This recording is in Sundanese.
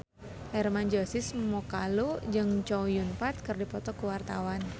Hermann Josis Mokalu jeung Chow Yun Fat keur dipoto ku wartawan